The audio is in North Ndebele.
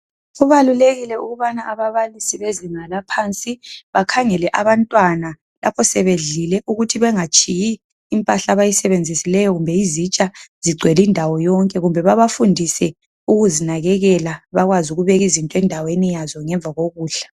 Kubalulekile ukuthi ababalisi beziinga laphansi bakhangela abantwana lapho sebedlile ukuthi bangatshiyi impahla abayisebenzisileyo kumbe izitsha zingcwele indawo yonke kumbe babafundise ukuzinakekela bakwazi ukube izinto endaweni yazo ngemva kokudla.